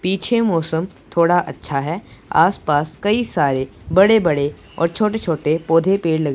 पीछे मौसम थोड़ा अच्छा है आसपास कई सारे बड़े बड़े और छोटे छोटे पौधे पेड़ ल--